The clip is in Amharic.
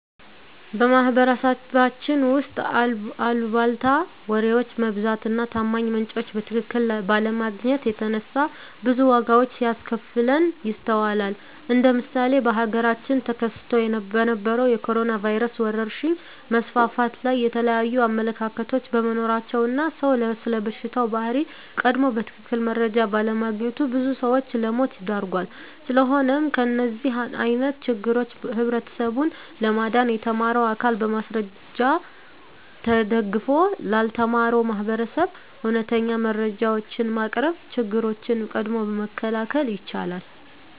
በማህበረሰባችን ውስጥ አልቧልታ ወሬዎች መብዛት እና ታማኝ ምንጮችን በትክክል ባለማግኘት የተነሳ ብዙ ዋጋዎች ሲያስከፍለን ይስተዋላል እንደ ምሳሌ በሀገራችን ተከስቶ በነበረዉ የኮሮኖ ቫይረስ ወረርሽኝ መስፋፋት ላይ የተለያዩ አመለካከቶች በመኖራቸው እና ሰዉ ስለበሽታው ባህሪ ቀድሞ በትክክል መረጃ ባለማግኘቱ ብዙ ሰዎችን ለሞት ዳርጓል። ስለሆነም ከእንደዚህ አይነት ችግሮች ህብረተሰቡን ለማዳን የተማረው አካል በማስረጃ ተደግፎ ላልተማረው ማህበረሰብ እውነተኛ መረጃዎችን በማቅረብ ችግሮችን ቀድሞ መከላከል ይቻላል።